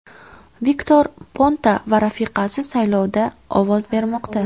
Viktor Ponta va rafiqasi saylovda ovoz bermoqda.